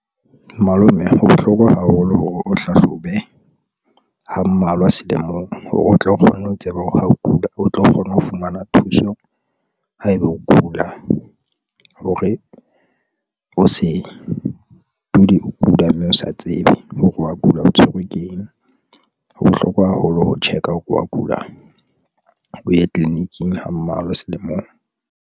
Malome ho bohlokwa haholo hore o hlahlobe ha mmalwa selemong hore o tlo kgona ho tseba hore ha o kula, o tlo kgona ho fumana thuso. Ha eba o kula hore o se o kula, mme o sa tsebe hore wa kula o tshwerwe ke eng. Ho bohlokwa haholo ho check-a o ke wa kula o ye tleliniking ho mmalwa selemong.